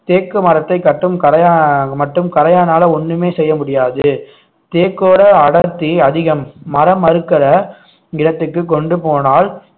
தேக்கு மரத்தைக் கட்டும் கரையா~ மட்டும் கரையானால ஒண்ணுமே செய்ய முடியாது தேக்கோட அடர்த்தி அதிகம் மரம் அறுக்கற நிலத்துக்கு கொண்டு போனால்